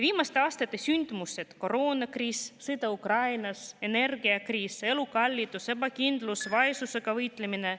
Viimaste aastate sündmused, nagu koroonakriis, sõda Ukrainas, energiakriis, elukallidus, ebakindlus, vaesusega võitlemine …